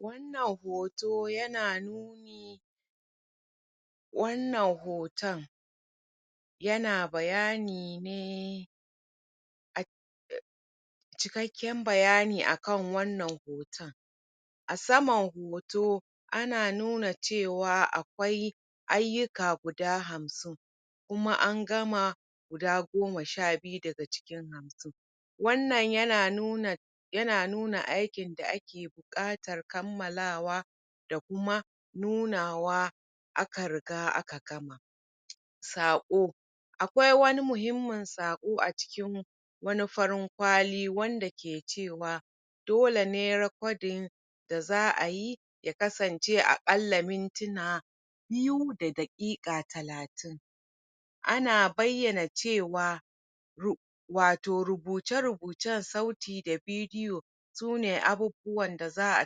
Wannan hoto yana nuni wannan hoton yana bayani ne cikakken bayani a kan wannan hoton a saman hoto ana nuna cewa akwai ayyuka guda hamsin kuma an gama guda goma sha biyu daga cikin hamsin wannan yana nuna aikin da ake buaƙatar kammalawa da kuma nunawa a ka riga aka gama, saƙo akwai wani muhimmain saƙo a cikin farin kwali wanda ke cewa dole ne recording da za a yi kasancewa a ƙalla minytuna biyu da daƙiƙa talatin ana bayyana cewa wato rubuce rubucen sauti da bidiyo su ne abubbuwan da za a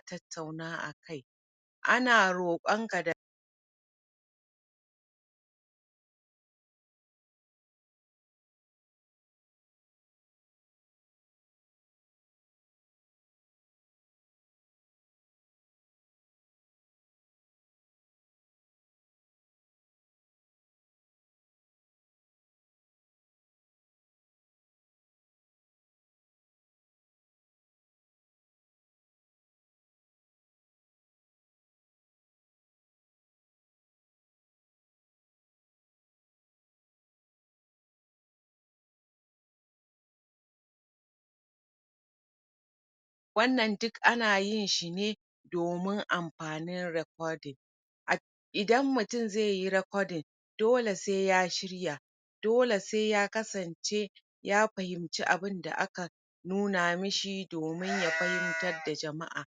tattatuna akai. A na roƙon ka da pause wannan duka anyin shi domin amfanin recording. iadan mutum zai yi recording dole sai ya shirya dole sai ya aksance ya fahimci abun da aka nuna mashi domin ya fahimtara da jama'a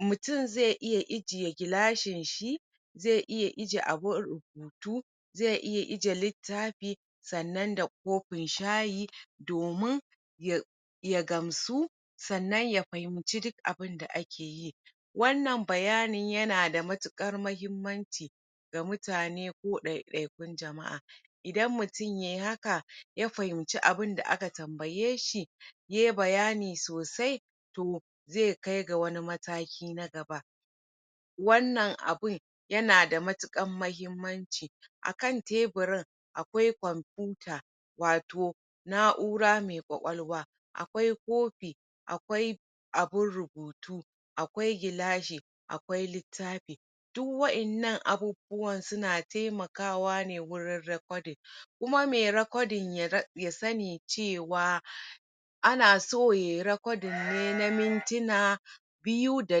mutum zai iya ijiye gilashinshi zai iya ijiye abun rubutu zai iya ijiye littafinshi sannan da kofin shayi domin ya ya gamsu ya fahimci duk abun da ake yi, wannan bayanin yana da matuƙar muhimmanci da mutane ko ɗaiɗaikun jama'a idan mutum yai haka ya fahinci abinda aka tambayeshi yai bayani sosai to zai kai ga wani mataki na gaba wannan abun yanan da matuƙar muhimmanci akan teburin akwai computer wato na'ura mai ƙwaƙwalwa akwai kofi akwai abum rubutu a kawai gilashi akwai littafi duk wa'inanna abubuwan suna taimnakawa ne wajen recording. kuma mai recording ya sani cewa ana so yai recording ne na mintuna biyu da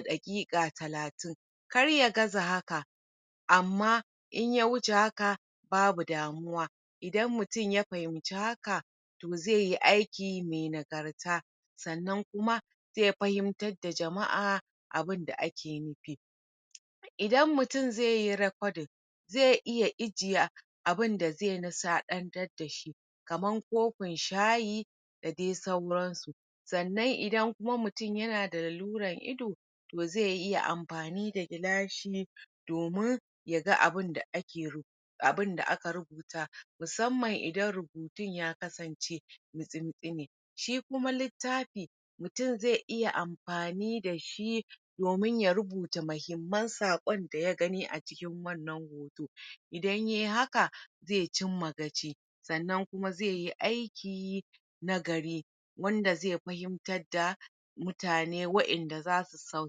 daƙiƙa talatin kar ya gaza haka amma in ya wuce haka babu damuwa idan mutum ya fahimci haka zai yi aiki mai nagarta sanna kuma zai fahimtar da jama'a abu da ake nufi idan mutum zai hi recording zai iya ijiye abinda zai nishaɗantar da shi kamar kofin shayi da dai sauransu, sannan idan mutum yana da lalurar ido to zai iya amfani da gilashi domin ya ga abin da aka rubuta musamman idan rubutun ya kasance mitsi-mitsi ne, Shi kuma littafi mutum zai iya amfani da shi domin tya rubuta muhimman saƙon da ya gani a cikin wannan saƙo idan yai haka zai cimma gaci sannan kuma zai yi aiki nagari wanda zai fahimtar da mutane wanda za su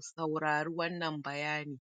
saurari wannan bayani.